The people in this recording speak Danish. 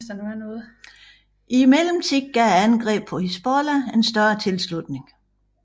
I mellemtiden gav angrebet Hizbollah en større tilslutning